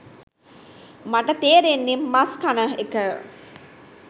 මට තේරෙන්නේ මස් කන එක